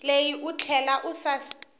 leyi u tlhela u seketela